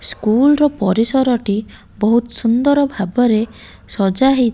school ର ପରିସର ଟି ବୋହୁତ୍ ସୁନ୍ଦର୍ ଭାବରେ ସଜା ହେଇ --